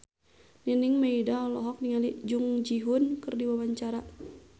Nining Meida olohok ningali Jung Ji Hoon keur diwawancara